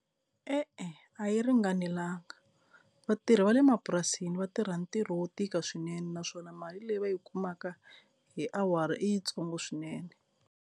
E-e, a yi ringanelanga vatirhi va le mapurasini va tirha ntirho wo tika swinene naswona mali leyi va yi kumaka hi awara i yitsongo swinene.